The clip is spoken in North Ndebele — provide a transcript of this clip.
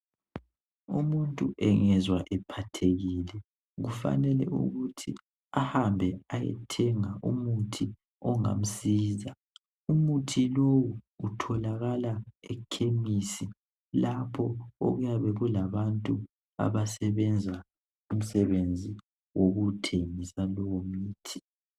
Umuntu engezwa ephathekile kufanele ukuthi ahambe ayethenga umuthi ongamsiza umuthi lowu utholakala ekhemisi lapho okuyabe kulabantu abasebenza umsebenzi wokuthengisa lowo mithi